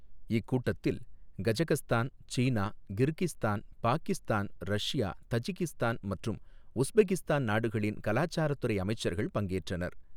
இக்கூட்டத்தில் கஜகஸ்தான், சீனா, Kyrgyzstan, Pakistan, Russia, Tajikistan மற்றும் உஸ்பெகிஸ்தான் நாடுகளில் கலாச்சாரத்துறை அமைச்சர்கள் பங்கேற்றனர்.